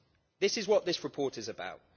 This is what this report is about.